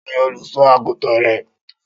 Ta ni olùṣọ́ àgùntàn rẹ?